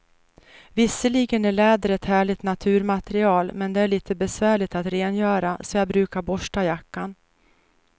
Visserligen är läder ett härligt naturmaterial, men det är lite besvärligt att rengöra, så jag brukar borsta jackan.